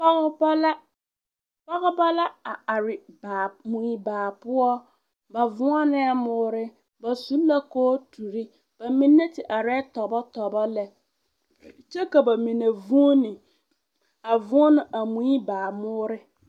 Pɔgeba la a are mue baa poɔ ba voonɛɛ moore ba su la kooturi, ba mine te arɛɛ tɔbɔtɔbɔ lɛ kyɛ ka ba mine vuuni a voɔnɔ a mue baa moore.